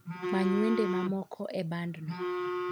many wende mamoko e bandno